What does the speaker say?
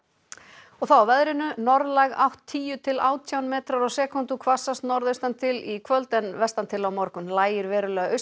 og þá að veðri norðlæg átt tíu til átján metrar á sekúndu hvassast norðaustan til í kvöld en vestan til á morgun lægir verulega